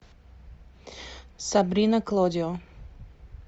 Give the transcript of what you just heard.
сабрина клодио